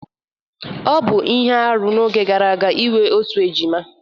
Ọ bụ ihe arụ n'oge gara aga inwe otu ejima